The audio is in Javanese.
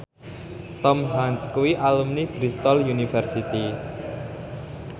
Tom Hanks kuwi alumni Bristol university